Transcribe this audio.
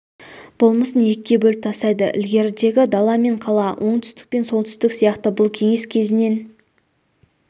болмысын екіге бөліп тастайды ілгерідегі дала мен қала оңтүстік пен солтүстік сияқты бұл кеңес кезінен